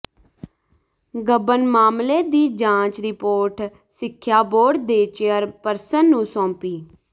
ਗਬਨ ਮਾਮਲੇ ਦੀ ਜਾਂਚ ਰਿਪੋਰਟ ਸਿੱਖਿਆ ਬੋਰਡ ਦੀ ਚੇਅਰਪਰਸਨ ਨੂੰ ਸੌਂਪੀ